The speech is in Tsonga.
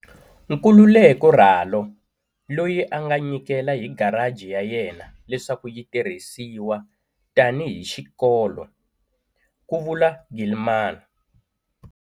Nkululeko Ralo, loyi a nga nyikela hi garaji ya yena leswaku yi tirhisiwa tanihi xikolo, ku vula Gilman.